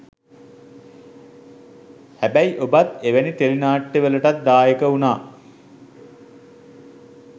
හැබැයි ඔබත් එවැනි ටෙලි නාට්‍යවලටත් දායක වුණා